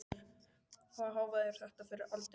Hvaða hávaði er þetta fyrir allar aldir?